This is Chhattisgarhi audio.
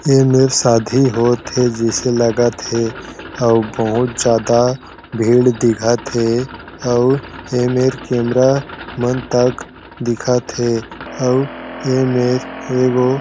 ये मेंर शादी होत हे जैसे लागत हे अउ बहुत ज्यादा भीड़ दिखत हे आऊ ए मेंर कैमरा मन तक दिखत हें आऊ ए मेंर एगो--